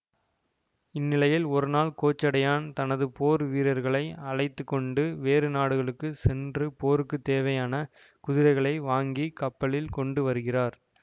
இந்நிலையில் ஒருநாள் கோச்சடையான் தனது போர் வீரர்களை அழைத்து கொண்டு வேறு நாடுகளுக்கு சென்று போருக்கு தேவையான குதிரைகளை வாங்கி கப்பலில் கொண்டு வருகிறார்